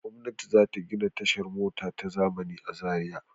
Gwamnati za ta gina tashar mota ta zamani a Zariya.